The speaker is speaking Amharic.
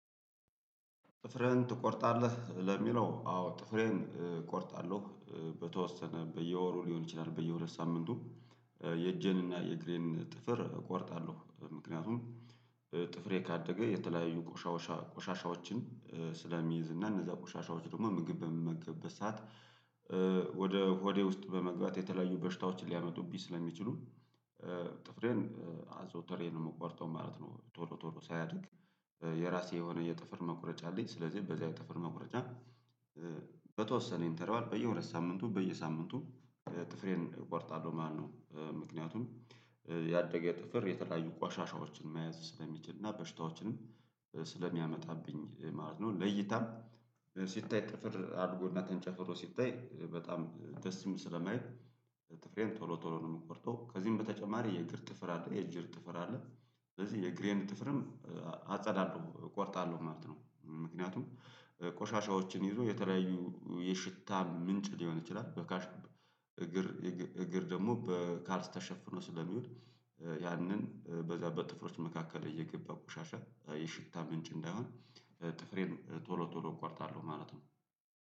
ጥፍርን ትቆርጣለህ ለሚለው አዎ ጥፍሬን እቆርጣለሁ በተወሰነ በየወሩ ሊሆን ይችላል በየ ሁለት ሳምንቱ። የእጄን እና የእግሬን ጥፍር እቆረጣለሁ ምክንያቱም ጥፍሬን ካደገ የተለያዩ ቆሻውሻ ቆሻሻዎችን ስለሚይዝ እና እነዛ ቆሻሻዎች ደግሞ ምግብ በምግብበት በሰአት ወደ ሆዴ ውስጥ በመግባት የተለያዩ በሽታዎችን ሊያመጡብኝ ስለሚችሉ ጥፍሬን አዘውተሬ ነው የምቆርጠው ማለት ነው። ቶሎ ቶሎ ሳያድግ የራሴ የሆነ የጥፍር መቁረጫ አለኝ ስለዚህ በዛ የጥፍር መቁረጫ። በተወሰነ ኢንተርዋል በየሁለት ሳምንቱ በየሳምንቱ ጥፍሬን እቆርጣለሁ ማለትነው። ምክንያቱም ያደገ ጥፍር የተለያዩ ቋሻሻዎችን መያዝ ስለሚችል እና በሽታዎችንም ስለሚያመጣብኝ ማለት ነው። ለይታም ሲታይ ጥፍር አድጎና ተንጨፍሮ ሲታይ በጣም ደስ ይስም ስለማየይል። ጥፍሬን ቶሎ ቶሎ ነው የምቆርጠው ከዚህም በተጨማሪ የእግር ጥፍር አለ የእግር ጥፍር አለ ስለዚህ የእግሬን ጥፍርም አጸዳለሁ እቆርጣለሁ ማለት ነው። ምክንያቱም ቆሻሻዎችን ይዞ የተለያዩ የሽታ ምንጭ ሊሆን ይችላል በካሽ እግር እግር ደግሞ በካልስ ተሸፍኖ ስለሚውል ያንን በዛ በጥፍሮች መካከል እየገባ ቆሻሻ የሽታ ምንጭ እንዳይሆን ጥፍሬን ቶሎ ቶሎ እቆርጣለሁ ማለት ነው።